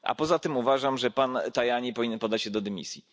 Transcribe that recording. A poza tym uważam, że pan Tajani powinien podać się do dymisji.